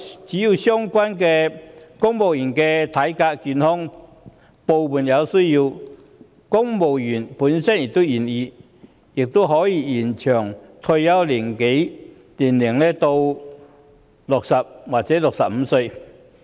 只要相關的公務員體格健康，而在部門有需要及公務員本身亦願意的情況下，也可以延長退休年齡至60或65歲。